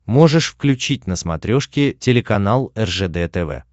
можешь включить на смотрешке телеканал ржд тв